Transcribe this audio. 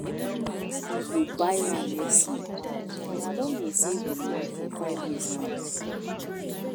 We go buy land next year and I don dey save the money for five years now